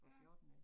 Ja